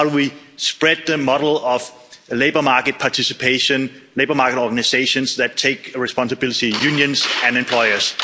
How do we spread the model of labour market participation, labour market organisations that take responsibility, unions and employers?